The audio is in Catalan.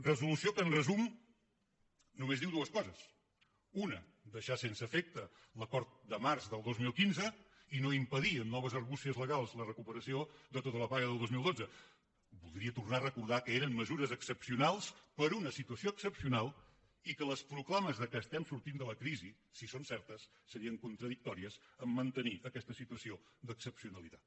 resolució que en resum només diu dues coses una deixar sense efecte l’acord de març del dos mil quinze i no impedir amb noves argúcies legals la recuperació de tota la paga del dos mil dotze voldria tornar a recordar que eren mesures excepcionals per una situació excepcional i que les proclames que estem sortint de la crisi si són certes serien contradictòries amb el fet de mantenir aquesta situació d’excepcionalitat